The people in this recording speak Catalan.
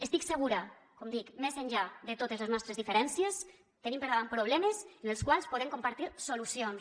estic segura com dic més enllà de totes les nostres diferències que tenim per davant problemes en els quals podem compartir solucions